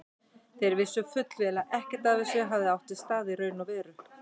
Þeir vissu fullvel að ekkert af þessu hefði átt sér stað í raun og veru.